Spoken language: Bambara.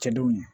Cɛdenw ye